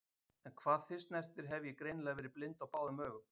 En hvað þig snertir hef ég greinilega verið blind á báðum augum.